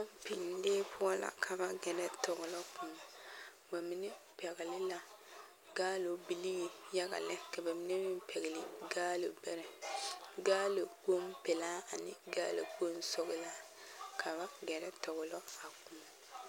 Pɔmpeŋ lee poɔ la ka ba gɛrɛ tɔglɔ koɔ ba mine pɛgle la gaalo bilii yaga lɛ ka ba mine meŋ pɛgle gaalo bɛrɛ gaalokpoŋ pelaa ane gaalokpoŋ sɔglaa kaŋa gɛrɛ tɔglɔ a koɔ.